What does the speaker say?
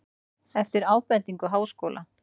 Eftir ábendingu Háskóla